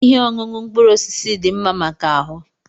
Ihe ọṅụṅụ mkpụrụ osisi dị mma maka ahụ.